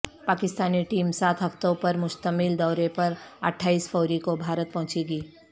Pakistani team سات ہفتوں پر مشتمل دورے پر اٹھائیس فروری کو بھارت پہنچے گی